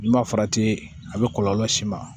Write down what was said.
N'i ma farati a bɛ kɔlɔlɔ las'i ma